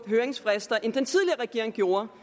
høringsfrister end den tidligere regering gjorde